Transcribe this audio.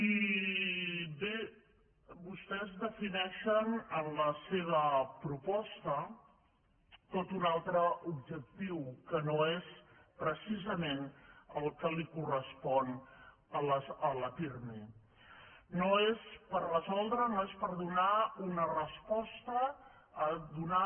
i bé vostès defineixen en la seva proposta tot un altre objectiu que no és precisament el que li correspon a la pirmi no és per resoldre no és per donar una resposta a donar